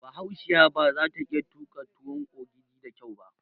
Bahaushiya baza ta iya tuƙa tuwon ogidi da kyau ba